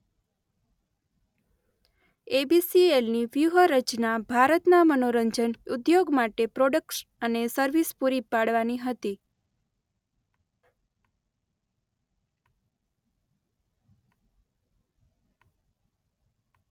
એબીસીએલની વ્યૂહરચના ભારતના મનોરંજન ઉદ્યોગ માટે પ્રોડક્ટ્સ અને સર્વિસ પૂરી પાડવાની હતી.